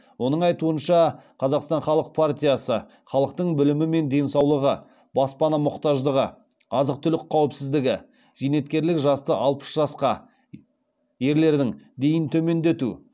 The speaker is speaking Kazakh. оның айтуынша қазақстан халық партиясы халықтың білімі мен денсаулығы баспана мұқтаждығы азық түлік қауіпсіздігі зейнеткерлік жасты алпыс жасқа дейін төмендету